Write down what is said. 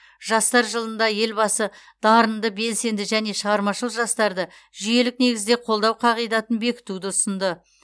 жастар жылында елбасы дарынды белсенді және шығармашыл жастарды жүйелік негізде қолдау қағидатын бекітуді ұсынды